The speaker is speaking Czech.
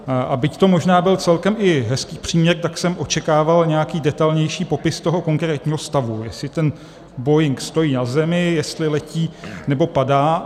A byť to možná byl celkem i hezký příměr, tak jsem očekával nějaký detailnější popis toho konkrétního stavu, jestli ten boeing stojí na zemi, jestli letí, nebo padá.